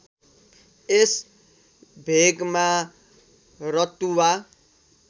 यस भेगमा रतुवा